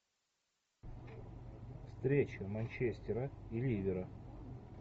встреча манчестера и ливера